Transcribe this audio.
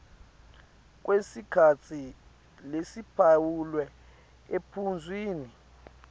kwesikhatsi lesiphawulwe ephuzwini